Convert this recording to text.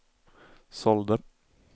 sålde